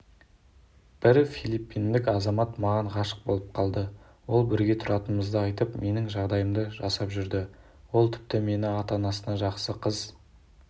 бір филиппиндік азамат маған ғашық болып қалды ол бірге тұратынымызды айтып менің жағдайымды жасап жүрді ол тіпті мені ата-анасына жақсы қыз